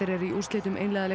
í úrslitum